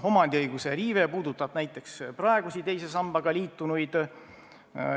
Omandiõiguse riive puudutab näiteks praegusi teise sambaga liitunuid.